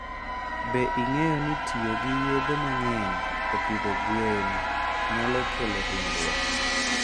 Be ing'eyo ni tiyo gi yedhe mang'eny e pidho gwen nyalo kelo hinyruok?